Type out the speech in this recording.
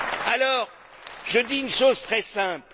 Alors, je dis une chose très simple.